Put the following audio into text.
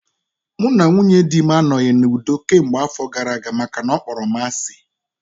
Mụ na nwunye dị m anoghi n'udo kemgbe afọ gara aga makana ọ kpọrọ m asị